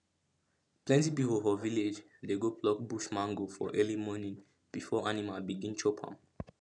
plenty people for village dey go pluck bush mango for early morning before animal begin chop am